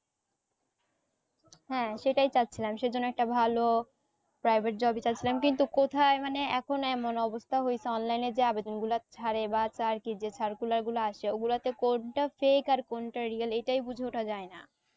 হ্যাঁ সেটাই চাইছিলাম সে জন্য একটা ভালো private job ই চাইছিলাম কিন্তু কোথায় মানে এখন এমন অবস্থা হইসে online যে আবেদন গুলা ছাড়ে বা চাকরির যে circular গুলো আসে ও গুলাতে কোনটা fake আর real এটাই বুঝে ওঠা যায় না